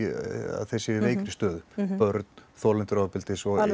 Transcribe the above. að þeir séu í veikri stöðu börn þolendur ofbeldis og